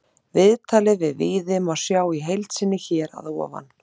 Viðtalið við Víði má sjá í heild sinni hér að ofan.